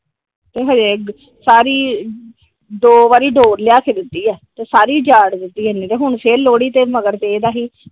ਤੇ ਹਜੇ ਸਾਰੀ ਦੋ ਵਾਰੀ ਡੋਰ ਲਿਆ ਕੇ ਦਿੱਤੀ ਆ ਸਾਰੀ ਉਜਾੜ ਦਿੱਤੀ ਇਹਨੇ ਤੇ ਹੁਣ ਫਿਰ ਲੋਹੜੀ ਤੇ ਮਗਰ ਪਿਆ ਸੀ ।